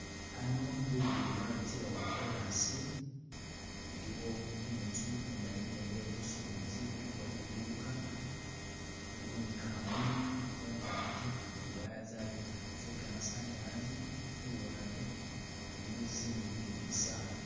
Hano lugudo lwabitilawo lwo kolasi iliwo inzu indayine iye busubuzi kuliko liduuka waliwo ni kamuli mungagi ziwaya zabita zegamasanyalaze luwande iliyo zinzu ni gimisaala.